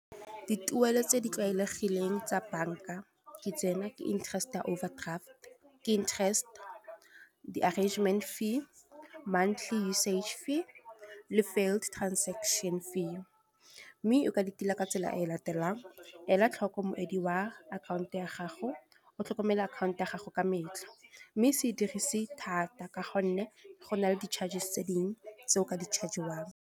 Dituelo tse di tlwaelegileng tsa bank-a ke tsena, ke interest ya overdraft, ke interest, di-arrangement fee, monthly usage fee, le failed transaction fee. Mme e ka ditila ka tsela e latelang, ela tlhoko motswedi wa akhanto ya gago, o tlhokomele akhaonto ya gago ka metlha. Mme se e dirise thata ka gonne go na le di-charges tse dingwe tse o ka di charge-iwang.